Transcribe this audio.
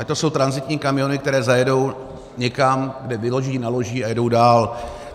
Ať to jsou tranzitní kamiony, které zajedou někam, kde vyloží, naloží a jedou dál.